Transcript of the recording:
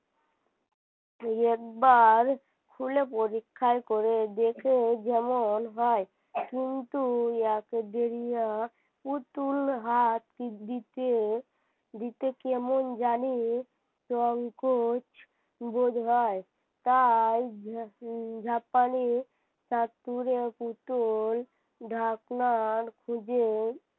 দিতে কেমন জানি সংকোচ বোধ হয় তাই ঝাপানি তা করে পুতুল ঢাকনার খুঁজে।